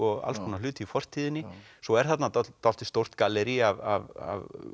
alls konar hluti í fortíðinni svo er þarna dálítið dálítið stórt gallerí af